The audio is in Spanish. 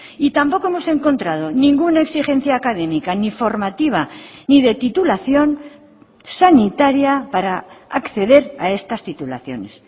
y tampoco hemos encontrado ninguna exigencia académica ni formativa ni de titulación sanitaria para acceder a estas titulaciones